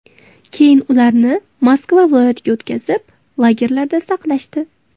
Keyin ularni Moskva viloyatiga o‘tkazib, lagerlarda saqlashdi.